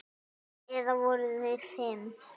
Eða voru þeir fimm?